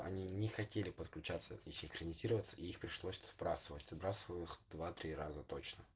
они не хотели подключаться и синхронизироваться их пришлось сбрасывать сбрасывал их два-три раза точно